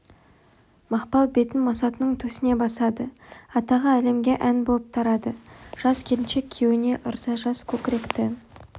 мақпал бетін масатының төсіне басады атағы әлемге ән болып тарады жас келіншек күйеуіне ырза жас көкіректі